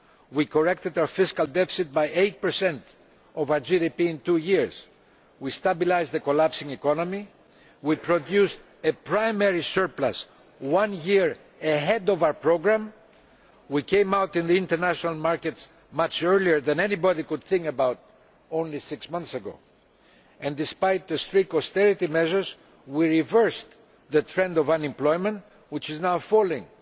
We corrected our fiscal deficit by 8 of our GDP in two years, stabilised the collapsing economy, produced a primary surplus one year ahead of our programme and came out into the international markets much earlier than anybody could have thought only six months ago. Despite the strict austerity measures, we reversed the trend of unemployment, which is now falling.